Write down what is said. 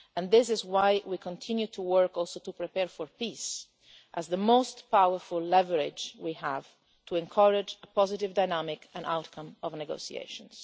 This is why we continue to work also to prepare for peace as the most powerful leverage we have to encourage a positive dynamic and outcome of negotiations.